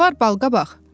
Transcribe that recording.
Nə var balqabaq?